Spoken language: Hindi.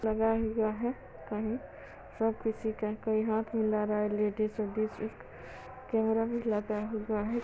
लगा हुआ है कहीं वो किसी का कोई हाथ मिला रहा है लेडीज एडीस एक कैमरा भी लगा हुआ है।